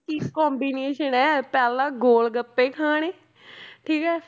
ਕੀ combination ਹੈ ਪਹਿਲਾਂ ਗੋਲ ਗੱਪੇ ਖਾਣੇ ਠੀਕ ਹੈ